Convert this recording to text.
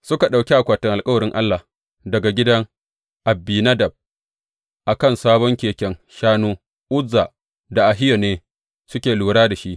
Suka ɗauki akwatin alkawarin Allah daga gidan Abinadab a kan sabon keken shanu, Uzza da Ahiyo ne suke lura da shi.